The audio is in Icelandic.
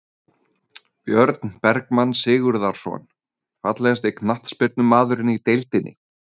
Björn Bergmann Sigurðarson Fallegasti knattspyrnumaðurinn í deildinni?